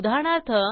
उदाहरणार्थ